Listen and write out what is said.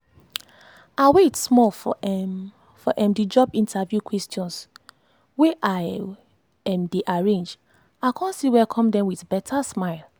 i wait small for um the um job interview questions wey i um dey arrange i con still welcome dem with beta smile.